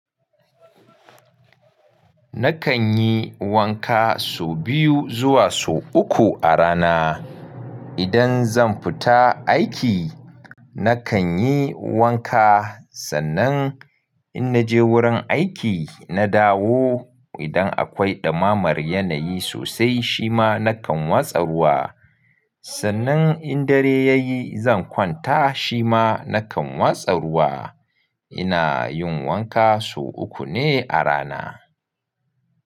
Nakan yi wanka so biyu zuwa so uku a rana. Idan zan fita aiki, nakan yi wanka sannan in naje wurin aiki na dawo. Idan akwai ɗumamar yanayi sosai shima nakan watsa ruwa. Sannan in dare yayi zan kwanta shima nakan watsa ruwa. Ina yin wanka so uku ne a rana.